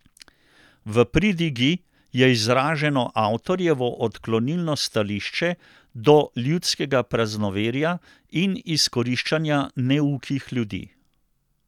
V pridigi je izraženo avtorjevo odklonilno stališče do ljudskega praznoverja in izkoriščanja neukih ljudi.